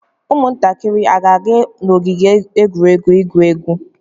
Ụmụntakịrị a ga-aga n'ogige egwuregwu igwu egwu?